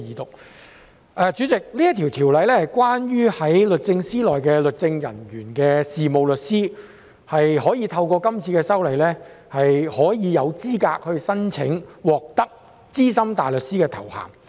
代理主席，這項《條例草案》是關於在律政司任職律政人員的事務律師可以透過這次修例，獲資格申請資深大律師的頭銜。